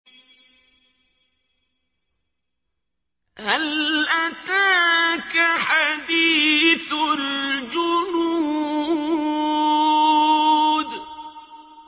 هَلْ أَتَاكَ حَدِيثُ الْجُنُودِ